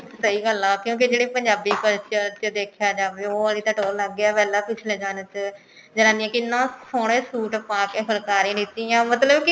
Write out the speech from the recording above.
ਸਹੀ ਗੱਲ ਹੈ ਕਿਉਂਕਿ ਜਿਹੜੇ ਪੰਜਾਬੀ culture ਚ ਦੇਖਿਆ ਜਾਵੇ ਉਹ ਆਲੀ ਤਾਂ ਟੋਹਰ ਅਲੱਗ ਹੀ ਹੈ ਪਹਿਲਾਂ ਪਿੱਛਲੇ ਚ ਜਮਾਨੇ ਚ ਜਨਾਨੀਆ ਕਿੰਨੇ ਸੋਹਣੇ suit ਪਾਕੇ ਫੁਲਕਾਰੀ ਲੀਤੀਆ ਮਤਲਬ ਕੀ